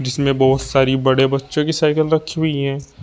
इसमें बहोत सारी बड़े बच्चो की साइकिल रखी हुई हैं।